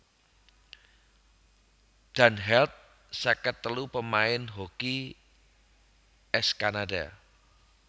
Dan Held seket telu pamain hoki ès Kanada